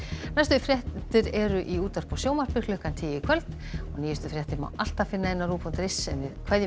næstu fréttir eru í útvarpi og sjónvarpi klukkan tíu í kvöld og nýjustu fréttir má alltaf finna á rúv punktur is en við kveðjum